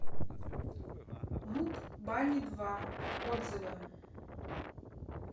муп бани два отзывы